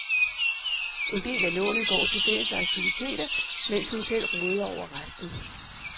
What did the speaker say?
En del af lånet går til fælles aktiviteter, mens hun selv råder over resten.